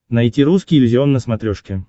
найти русский иллюзион на смотрешке